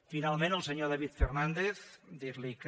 finalment al senyor david fernàndez dir li que